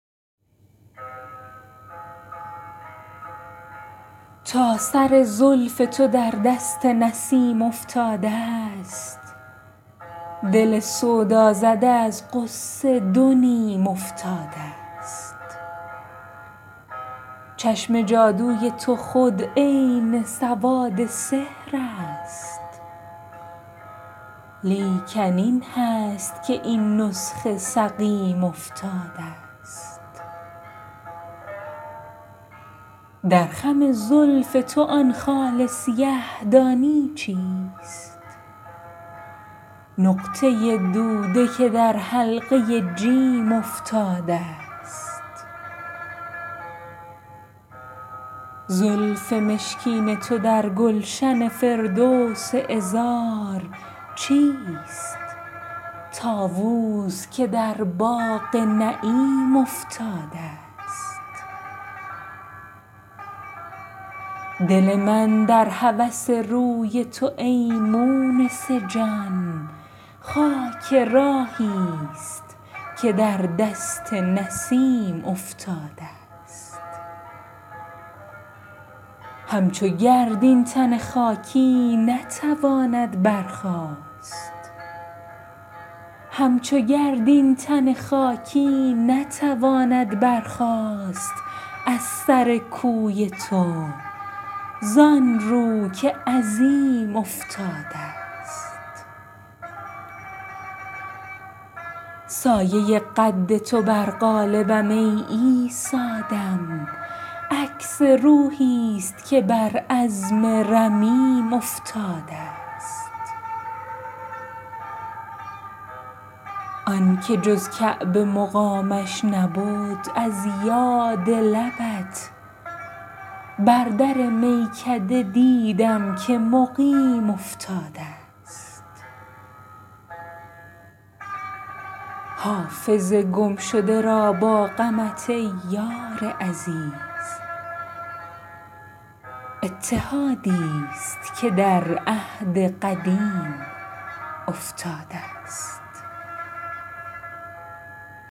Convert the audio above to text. تا سر زلف تو در دست نسیم افتادست دل سودازده از غصه دو نیم افتادست چشم جادوی تو خود عین سواد سحر است لیکن این هست که این نسخه سقیم افتادست در خم زلف تو آن خال سیه دانی چیست نقطه دوده که در حلقه جیم افتادست زلف مشکین تو در گلشن فردوس عذار چیست طاووس که در باغ نعیم افتادست دل من در هوس روی تو ای مونس جان خاک راهیست که در دست نسیم افتادست همچو گرد این تن خاکی نتواند برخاست از سر کوی تو زان رو که عظیم افتادست سایه قد تو بر قالبم ای عیسی دم عکس روحیست که بر عظم رمیم افتادست آن که جز کعبه مقامش نبد از یاد لبت بر در میکده دیدم که مقیم افتادست حافظ گمشده را با غمت ای یار عزیز اتحادیست که در عهد قدیم افتادست